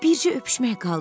Bircə öpüşmək qaldı.